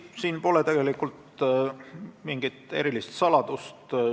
Siin pole tegelikult mingit erilist saladust.